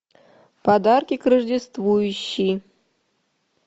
подарки к рождеству ищи